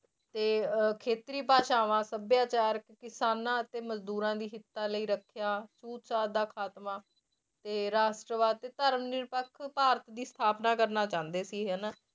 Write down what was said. ਤੇ ਅਹ ਖੇਤਰੀ ਭਾਸ਼ਾਵਾਂ ਸਭਿਆਚਾਰ ਕਿਸਾਨਾਂ ਅਤੇ ਮਜ਼ਦੂਰਾਂ ਦੀ ਹਿੱਤਾਂ ਲਈ ਰੱਖਿਆ ਛੂਤ ਛਾਤ ਦਾ ਖਾਤਮਾ ਤੇ ਰਾਸ਼ਟਰਵਾਦ ਤੇ ਧਰਮ ਨਿਰਪੱਖ ਭਾਰਤ ਦੀ ਸਥਾਪਨਾ ਕਰਨਾ ਚਾਹੁੰਦੇ ਸੀ ਹਨਾ।